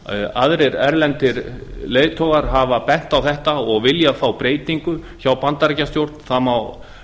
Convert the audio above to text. aðrir erlendir leiðtogar hafa bent á þetta og vilja frá breytingu hjá bandaríkjastjórn það má